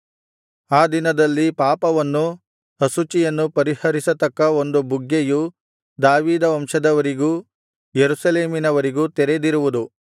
ಆ ದಿನದಲ್ಲಿ ಪಾಪವನ್ನೂ ಅಶುಚಿಯನ್ನೂ ಪರಿಹರಿಸತಕ್ಕ ಒಂದು ಬುಗ್ಗೆಯು ದಾವೀದ ವಂಶದವರಿಗೂ ಯೆರೂಸಲೇಮಿನವರಿಗೂ ತೆರೆದಿರುವುದು